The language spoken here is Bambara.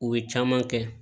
U ye caman kɛ